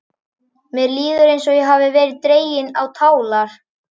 Mér líður eins og ég hafi verið dregin á tálar.